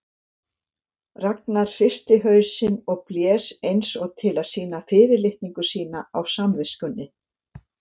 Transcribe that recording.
Ragnar hristi hausinn og blés eins og til að sýna fyrirlitningu sína á samviskunni.